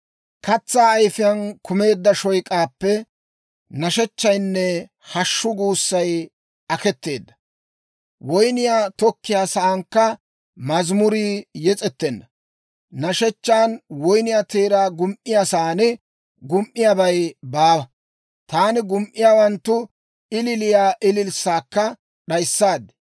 Katsaa ayifiyaan kumeedda shoyk'aappe nashechchaynne hashshu guussay aketeedda. Woynniyaa tokkiyaa saankka mazimurii yes'ettenna. Nashechchan woyniyaa teeraa gum"iyaa sa'aan gum"iyaabay baawa. Taani gum"iyaawanttu ililiya ililssaakka d'ayissaad.